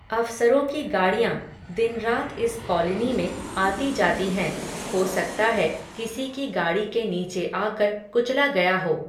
अफ़सरों की गाड़ियां, दिन रात इस कॉलनी में, आती जाती हैं, हो सकता है, किसी की गाड़ी के नीचे आकर, कुचला गया हो